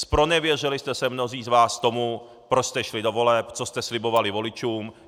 Zpronevěřili jste se mnozí z vás tomu, proč jste šli do voleb, co jste slibovali voličům.